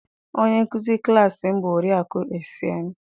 Onye nkuzi klassị m bụ Oriakụ Essịen